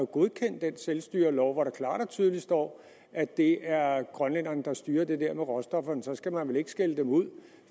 godkendt den selvstyrelov hvor der klart og tydeligt står at det er grønlænderne der styrer det der med råstofferne og så skal man vel ikke skælde dem ud